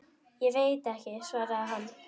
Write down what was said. Ég veit ekki, svaraði hann.